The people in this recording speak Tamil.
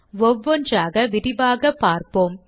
ஒவ்வொன்றாக விரிவாக பார்ப்போம்